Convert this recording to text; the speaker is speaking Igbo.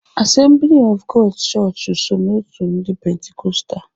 Assembly Of God's chọọchị so n'otu ndị pentikostal.